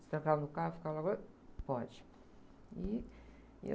Se trancavam no carro, ficavam lá, pode. E...